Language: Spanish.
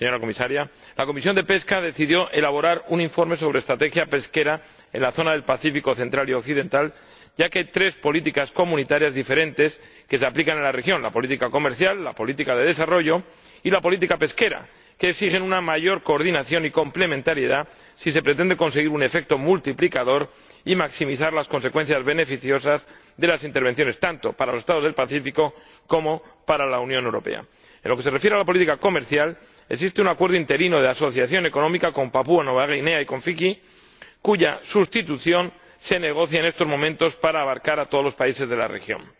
Señora Comisaria, la Comisión de Pesca decidió elaborar un informe sobre estrategia pesquera en la zona del Pacífico central y occidental, ya que hay tres políticas comunitarias diferentes que se aplican en la región —la política comercial, la política de desarrollo y la política pesquera—, que exigen una mayor coordinación y complementariedad si se pretende conseguir un efecto multiplicador y maximizar las consecuencias beneficiosas de las intervenciones, tanto para los Estados del Pacífico como para la Unión Europea. En lo que se refiere a la política comercial, existe un acuerdo interino de asociación económica con Papúa Nueva Guinea y con Fiyi, cuya sustitución se negocia en estos momentos para abarcar a todos los países de la región.